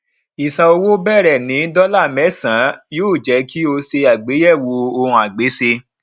ìsan owó bẹrẹ ní dọlà mẹsànán yóò jé kí o ṣe àgbéyẹwò ohunagbéṣe